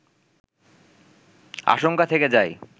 আশঙ্কা থেকে যায়